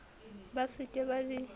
ba se ke ba di